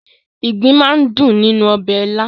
Ìgbín máa ń dùn nínú ọbẹ̀ ilá.